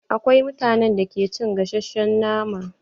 Akwai mutanen da ke cin gasashen nama.